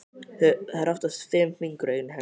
Það eru oftast fimm fingur á einni hendi.